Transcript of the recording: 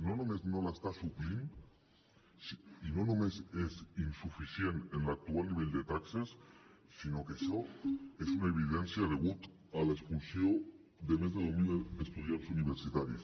no només no l’està suplint i no només és insuficient en l’actual nivell de taxes sinó que això és una evidència quan causa l’expulsió de més de deu mil estudiants universitaris